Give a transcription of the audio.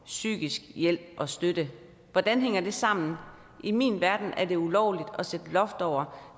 psykisk hjælp og støtte hvordan hænger det sammen i min verden er det ulovligt at sætte et loft over